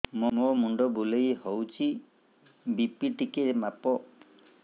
ମୋ ମୁଣ୍ଡ ବୁଲେଇ ହଉଚି ବି.ପି ଟିକେ ମାପ